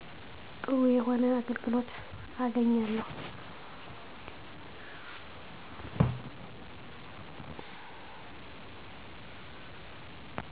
ጥሩ የሆነ አገልግሎት አገኛለው